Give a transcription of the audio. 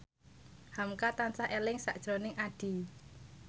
hamka tansah eling sakjroning Addie